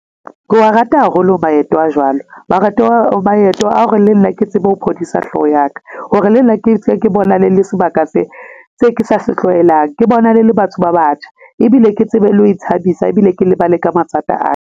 Ko wa rata haholo maeto a jwalo, maeto a hore le nna ke tsebe ho phodisa hlooho ya ka hore le nna ke tswe ke bonane le sebaka se ke sa se tlwaelang. Ke bonane le batho ba batjha, ebile ke tsebe le ho ithabisa ebile ke lebale ka mathata a ka.